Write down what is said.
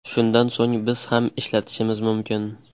Shundan so‘ng biz ham ishlatishimiz mumkin.